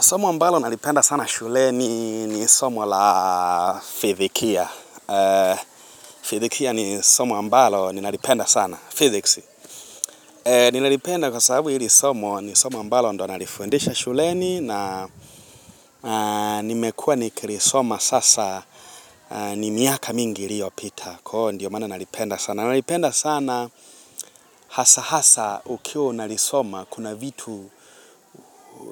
Somo ambalo nalipenda sana shuleni ni somo la fithikia. Fithikia ni somo ambalo ninalipenda sana. Physics. Ninalipenda kwa sababu hili somo ni somo ambalo ndo nalifundisha shuleni na nimekua nikilisoma sasa ni miaka mingi iliyopita. Kwa ndio maana nalipenda sana. Nalipenda sana hasa hasa ukiwa unalisoma kuna vitu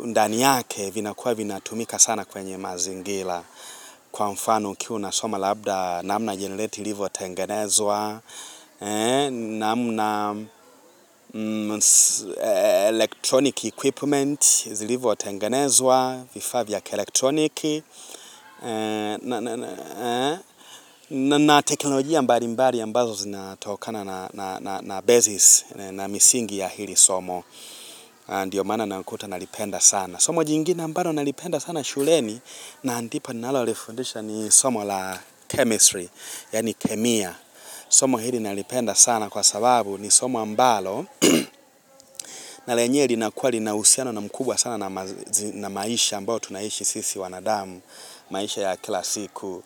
ndani yake vinakuwa vinatumika sana kwenye mazingira. Kwa mfano ukiwa unsoma labda namna jenireti ilivyo tenganezwa, namna electronic equipment, zilivyo tengenezwa, vifaa vya kielektroniki, na teknolojia mbali mbali ambazo zinatokana na basis na misingi ya hili somo, ndiyo maana nakuta nalipenda sana. Somo jingina mbalo nalipenda sana shuleni na ndipo nalolifundisha ni somo la chemistry, yani kemia. Somo hili nalipenda sana kwa sababu ni somo ambalo na lenyewe linakua lina usiano mkubwa sana na maisha ambao tunayoishi sisi wanadamu, maisha ya kila siku.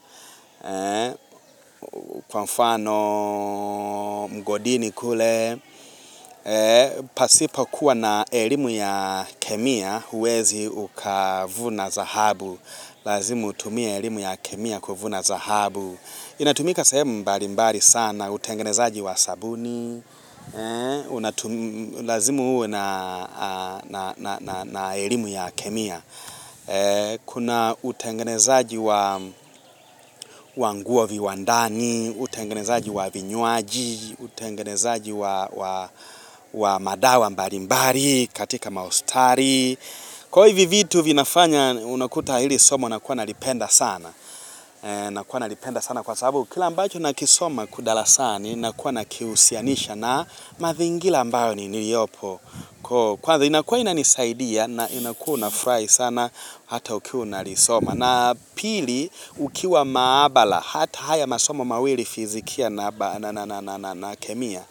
Kwa mfano mgodini kule pasipo kuwa na elimu ya kemia huwezi ukavuna dhahabu Lazimu utumie elimu ya kemia kuvuna dhahabu Iinatumika sehemu mbali mbali sana utengenezaji wa sabuni Lazima uwe na elimu ya kemia Kuna utengenezaji wa nguo viwandani utengenezaji wa vinyuaji, utengenezaji wa madawa mbalimbali, katika mahospitali. Kwa hivyo vitu vinafanya unakuta hili somo nakuwa nalipenda sana. Nakuwa nalipenda sana kwa sababu. Kila mbacho nakisoma kwa darasani, nakuwa nakiusianisha na mazingira ambayo niliopo. Kwa hivyo inakua inanisaidia na inakua unafurahi sana hata ukiwa unalisoma. Na pili, ukiwa maabala, hata haya masomo mawili fizikia na kemia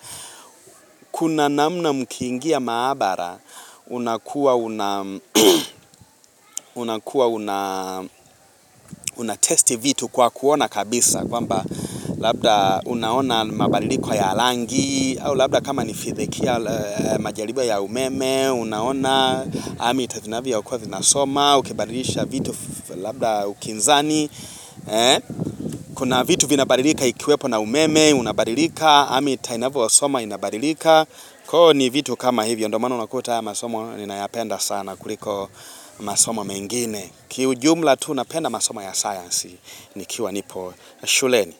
Kuna namna mkingia maabara, unakua una unatesti vitu kwa kuona kabisa kwamba, labda unaona mabadiliko ya rangi au labda kama ni fizikia majaribio ya umeme Unaona, amita vinavyokuwa vinasoma Ukebadilisha vitu labda kinzani Kuna vitu vinabadilika ikiwepo na umeme Unabadilika, amita inavyo soma inabadilika koo, ni vitu kama hivyo, ndio maana unakuta haya masomo Ninayapenda sana kuliko masomo mengine Kiujumla tu napenda masomo ya science nikiwa nipo shuleni.